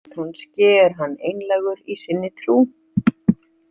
Kannski er hann einlægur í sinni trú.